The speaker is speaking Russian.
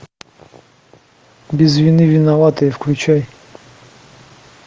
без вины виноватые включай